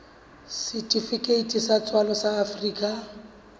setifikeiti sa tswalo sa afrika